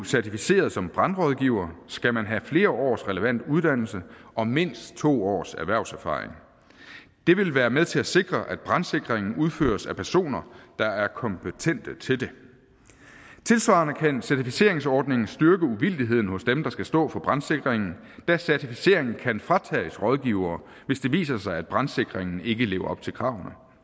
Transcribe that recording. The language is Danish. certificeret som brandrådgiver skal man have flere års relevant uddannelse og mindst to års erhvervserfaring det vil være med til at sikre at brandsikringen udføres af personer der er kompetente til det tilsvarende kan en certificeringsordning styrke uvildigheden hos dem der skal stå for brandsikringen da certificeringen kan fratages rådgivere hvis det viser sig at brandsikringen ikke lever op til kravene